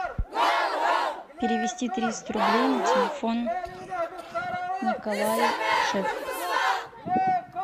перевести триста рублей на телефон николай шеф